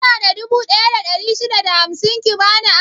Kina da dubu ɗaya da ɗari shida da hamsin ki bani aro?